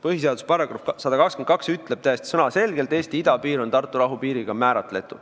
Põhiseaduse § 122 ütleb täiesti sõnaselgelt, et Eesti idapiir on määratud Tartu rahu piiriga.